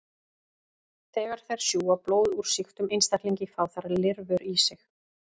Þegar þær sjúga blóð úr sýktum einstaklingi fá þær lirfur í sig.